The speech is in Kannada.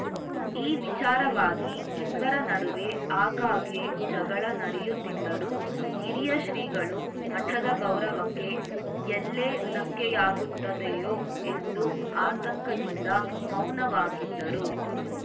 ಈ ವಿಚಾರವಾಗಿ ಇಬ್ಬರ ನಡುವೆ ಆಗಾಗ್ಗೆ ಜಗಳ ನಡೆಯುತ್ತಿದ್ದರೂ ಹಿರಿಯ ಶ್ರೀಗಳು ಮಠದ ಗೌರವಕ್ಕೆ ಎಲ್ಲೆ ಧಕ್ಕೆಯಾಗುತ್ತದೆಯೋ ಎಂದು ಆತಂಕದಿಂದ ಮೌನವಾಗಿದ್ದರು